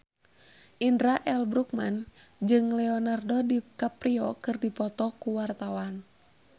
Indra L. Bruggman jeung Leonardo DiCaprio keur dipoto ku wartawan